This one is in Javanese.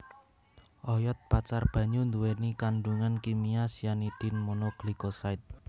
Oyod pacar banyu nduwèni kandhungan kimia cyanidin mono glycoside